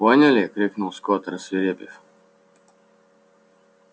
поняли крикнул скотт рассвирепев